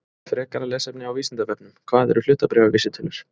Frekara lesefni á Vísindavefnum: Hvað eru hlutabréfavísitölur?